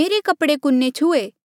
मेरे कपड़े कुने छुहे